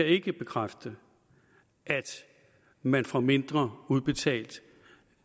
ikke bekræfte at man får mindre udbetalt